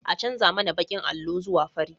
An canja mana bakin allo zuwa fari